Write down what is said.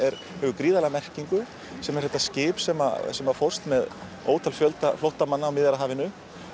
hefur gríðarlega merkingu sem er þetta skip sem sem fórst með ótal fjölda flóttamanna á Miðjarðarhafinu